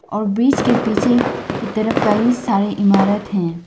और ब्रिज के पीछे की तरफ कई सारे इमारत हैं।